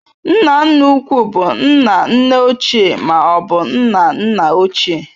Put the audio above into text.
Nna nna ukwu bụ nna nne ochie ma ọ bụ nna nna ochie.